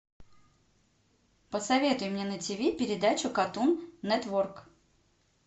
посоветуй мне на ти ви передачу катун нетворк